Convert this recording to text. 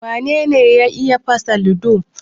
Wane ne ya fasa ludo?